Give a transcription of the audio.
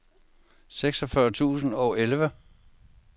seksogfyrre tusind og elleve